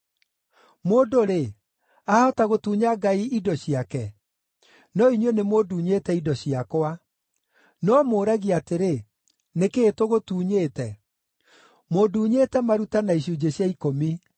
“Mũndũ-rĩ, aahota gũtunya Ngai indo ciake? No inyuĩ nĩmũndunyĩte indo ciakwa. “No mũũragia atĩrĩ, ‘Nĩ kĩĩ tũgũtunyĩte?’ “Mũnduunyĩte maruta na icunjĩ cia ikũmi.